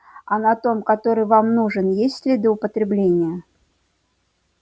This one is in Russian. а на том который вам нужен есть следы употребления